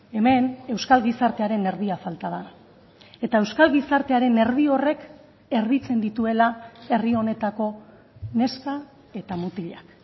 hemen euskal gizartearen erdia falta da eta euskal gizartearen erdi horrek erditzen dituela herri honetako neska eta mutilak